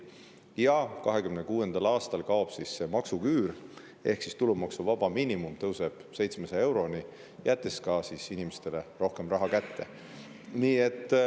2026. aastal kaob maksuküür ehk tulumaksuvaba miinimum tõuseb 700 euroni, jättes inimestele rohkem raha kätte.